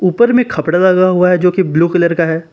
ऊपर में खपड़ा लगा हुआ है जो की ब्लू कलर का है।